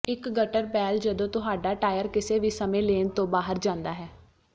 ਇੱਕ gutter ball ਜਦੋਂ ਤੁਹਾਡਾ ਟਾਇਰ ਕਿਸੇ ਵੀ ਸਮੇਂ ਲੇਨ ਤੋਂ ਬਾਹਰ ਜਾਂਦਾ ਹੈ